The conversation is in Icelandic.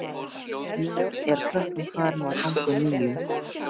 Þá er klukkan farin að ganga níu.